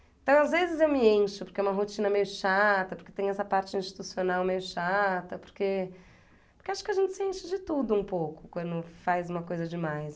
Então, às vezes eu me encho porque é uma rotina meio chata, porque tem essa parte institucional meio chata, porque porque acho que a gente se enche de tudo um pouco quando faz uma coisa demais.